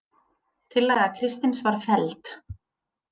Tillaga Kristins var felld